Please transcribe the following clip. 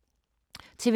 TV 2